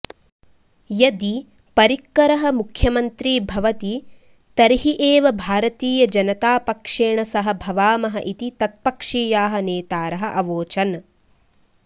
यदि परिक्करः मुख्यमन्त्री भवति तर्हि एव भारतीयजनतापक्षेण सह भवामः इति तत्पक्षीयाः नेतारः अवोचन्